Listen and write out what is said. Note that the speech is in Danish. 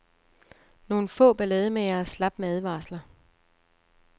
Nogle få ballademagere slap med advarsler.